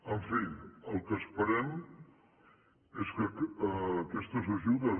en fi el que esperem és que aquestes ajudes